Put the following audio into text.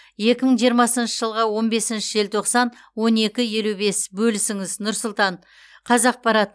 екі мың жиырмасыншы жылғы он бесінші желтоқсан он екі елу бес бөлісіңіз нұр сұлтан қазақпарат